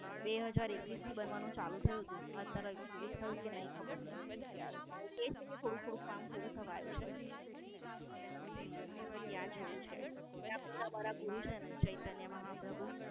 બે હાજર એકવીસ થી બનવાનું ચાલુ થયું તું. અત્યારે હવે પૂરું થયુ કે નઈ એ ખબર નઈ યાદ. કી છે કે થોડું થોડું પૂરું થવા આવ્યું છે હમ તો ત્યાં જવું છે ત્યાં પેલા મારા ગુરુ છેને ચૈતન્ય મહાપ્રભુ